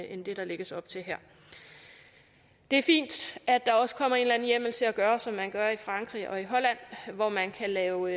end det der lægges op til her det er fint at der også kommer en eller anden hjemmel til at gøre som man gør i frankrig og i holland hvor man kan lave